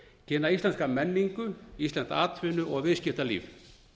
kynna íslenska menningu íslenskt atvinnu og viðskiptalíf